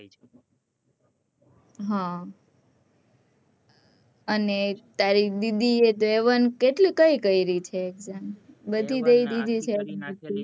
હ અને તારી બી one એ one કેટલી કઈ કઈ રી છે exam બધી દઈ ધીધી છે